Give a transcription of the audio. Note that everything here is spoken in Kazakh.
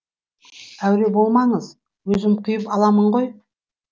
әуре болмаңыз өзім құйып аламын ғой